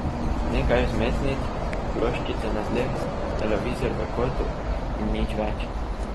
Nekaj vzmetnic, ploščice na tleh, televizor v kotu in nič več.